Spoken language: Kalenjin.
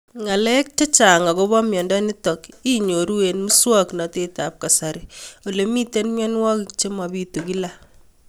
Ng'alek chechang' akopo miondo nitok inyoru eng' muswog'natet ab kasari ole mito mianwek che mapitu kila